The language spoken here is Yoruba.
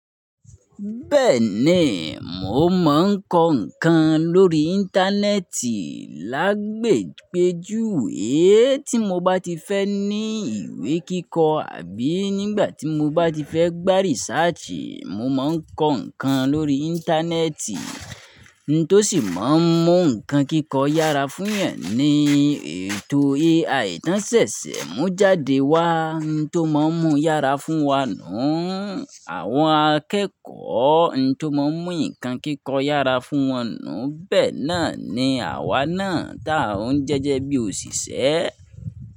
Bẹ́ẹ̀ni, mo mọ̀ ń kọ́ ǹkan lórí Íńtánẹ́ẹ̀tì lágbègbè jú, é tí mo bá ti fẹ́ ní ìwé kíkọ àbí nígbà tí mo bá ti fẹ́ gbá rìsáàtì, mo máa ń kọ́ ǹkan lórí Íńtánẹ́ẹ̀tì, n tó sì máa ń mú ǹkan kíkọ yára fún yan ni ẹni ètò AI AI tán ṣẹ̀ṣẹ̀ mú jáde wá, n tó máa ń mú yára fún wa nùú, àwọn akẹ́kọ̀ọ́ n tó máa ń mú nǹkan kíkọ yára fún wọn nùú, bẹ́ẹ̀ náà ni àwa náà táà ń jẹ́jẹ́ bí òṣìṣẹ́